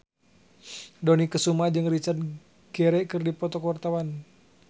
Dony Kesuma jeung Richard Gere keur dipoto ku wartawan